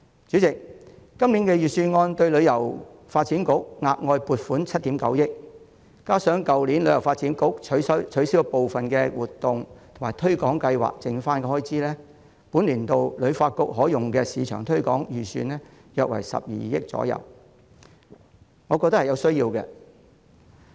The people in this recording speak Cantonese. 主席，今年的預算案向香港旅遊發展局額外撥款7億 9,000 萬元，加上去年旅發局取消了部分活動及推廣計劃後的餘款，本年度旅發局可用的市場推廣預算約為12億元，我認為有其必要。